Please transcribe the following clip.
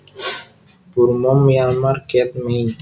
Burma Myanmar kyet mei